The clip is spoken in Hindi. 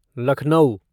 लखनऊ